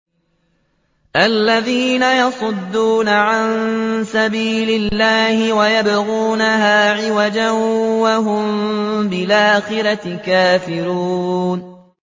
الَّذِينَ يَصُدُّونَ عَن سَبِيلِ اللَّهِ وَيَبْغُونَهَا عِوَجًا وَهُم بِالْآخِرَةِ كَافِرُونَ